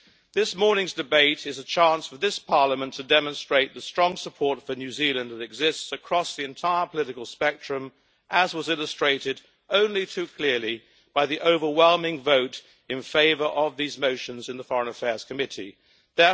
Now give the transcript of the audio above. This morning's debate is a chance for this Parliament to demonstrate the strong support for New Zealand that exists across the entire political spectrum, as was illustrated only too clearly by the overwhelming vote in favour of these motions in the Committee on Foreign Affairs.